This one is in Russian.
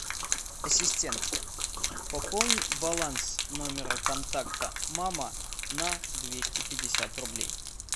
ассистент пополни баланс номера контакта мама на двести пятьдесят рублей